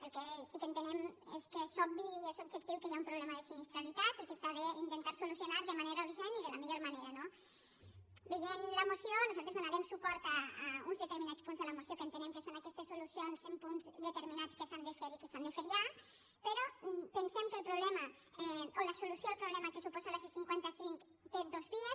el que sí que entenem és que és obvi i és ob·jectiu que hi ha un problema de sinistralitat i que s’ha d’intentar solucionar de manera urgent i de la millor manera no veient la moció nosaltres donarem suport a uns deter·minats punts de la moció que entenem que són aques·tes solucions en punts determinats que s’han de fer i que s’han de fer ja però pensem que la solució al pro·blema que suposa la c·cinquanta cinc té dos vies